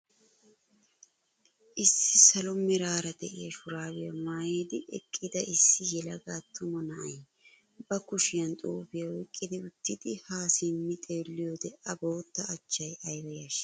Issi salo meraara de'iyaara shuraabiyaa mayidi eqqida issi yelaga attuma na'ay ba kushiyaan xuufiyaa oyqqi uttidi haa simmidi xeelliyoode a bootta achchay ayba yashshii!